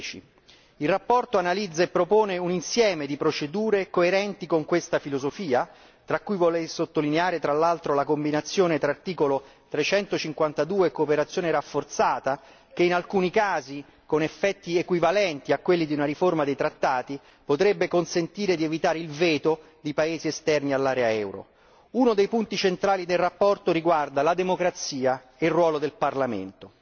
2010. La relazione analizza e propone un insieme di procedure coerenti con questa filosofia, tra cui vorrei sottolineare, tra l'altro, la combinazione tra articolo 352 e cooperazione rafforzata che, in alcuni casi, con effetti equivalenti a quelli di una riforma dei trattati, potrebbe consentire di evitare il veto di paesi esterni all'area euro. Uno dei punti centrali della relazione riguarda la democrazia e il ruolo del Parlamento.